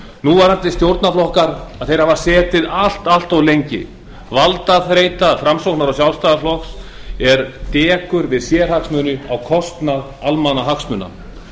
núverandi stjórnarflokkar hafa setið allt of lengi valdaþreyta framsóknar og sjálfstæðisflokks er dekur við sérhagsmuni á kostnað almannahagsmuna